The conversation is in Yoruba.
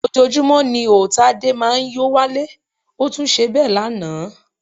Ojoojúmọ́ ni ó Tádé máa ń yó wálé, ó tún ṣe bẹ́ẹ̀ lánàá